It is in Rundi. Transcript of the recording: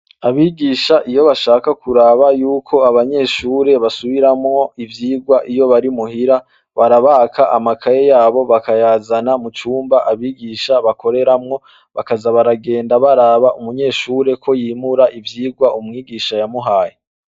Abigisha iyo bashaka kuraba yuko abanyeshure basubiramwo ivyigwa iyo bari muhira, barabaka amakaye yabo bakayazana mu cumba abigisha bakoreramwo, bakaza baragenda baraba umunyeshure ko yimura ivyigwa umwigisha yamuhaye.